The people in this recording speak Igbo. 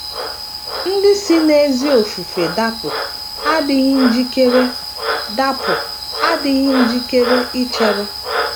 ndị si n’ezi ofufe dapụ adịghị njikere dapụ adịghị njikere ichere.